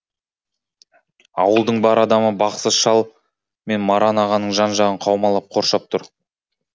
ауылдың бар адамы бақсы шал мен маран ағаның жан жағын қаумалап қоршап тұр